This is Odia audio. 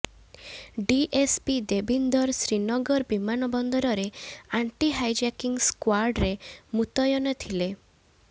ଡିଏସପି ଦେବୀନ୍ଦର ଶ୍ରୀନଗର ବିମାନବନ୍ଦରରେ ଆଣ୍ଟି ହାଇଜାକିଂ ସ୍କ୍ବାଡ୍ରେ ମୁତୟନ ଥିଲେ